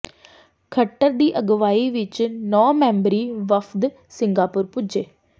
ਖੱਟਰ ਦੀ ਅਗਵਾਈ ਵਿੱਚ ਨੌਂ ਮੈਂਬਰੀ ਵਫ਼ਦ ਸਿੰਗਾਪੁਰ ਪੁੱਜਾ